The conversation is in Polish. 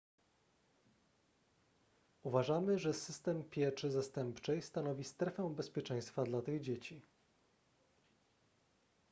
uważamy że system pieczy zastępczej stanowi strefę bezpieczeństwa dla tych dzieci